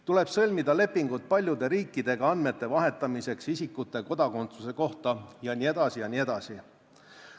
Tuleb sõlmida lepingud paljude riikidega isikute kodakondsuse kohta andmete vahetamiseks jne.